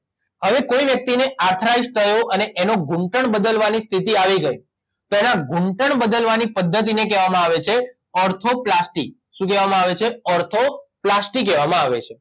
હવે કોઇ વ્યક્તિ ને આર્થરાઇટસ થયો અને એનો ઘૂંટણ બદલવાની સ્થિતિ આવી ગઇ તો એના ઘૂંટણ બદલવાની પધ્ધતિને કહેવામાં આવે છે ઓર્થોપ્લાસ્ટી શું કહેવામાં આવે છે ઓર્થોપ્લાસ્ટી કહેવામાં આવે છે